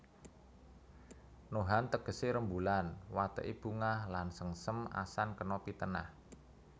Nohan tegesé rembulan wateké bungah lan sengsem asan kena pitenah